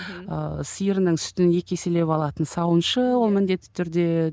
ыыы сиырының сүтін екі еселеп алатын сауыншы ол міндетті түрде